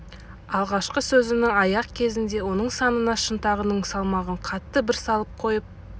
алғашқы сөзінің аяқ кезінде оның санына шынтағының салмағын қатты бір салып қойып